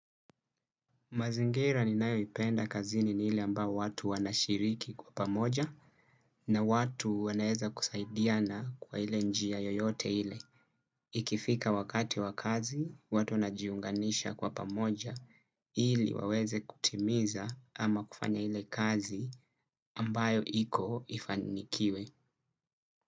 Mazingira ninayoipenda kazini ni ile ambayo watu wanashiriki kwa pamoja na watu wanaweza kusaidiana kwa ile njia yoyote ile. Ikifika wakati wakazi, watu najiunganisha kwa pamoja ili waweze kutimiza ama kufanya ile kazi ambayo iko ifanikiwe.